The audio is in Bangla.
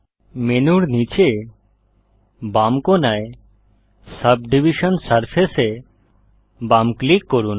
মেনুর নীচের বাম কোনায় সাবডিভিশন সারফেস এ বাম ক্লিক করুন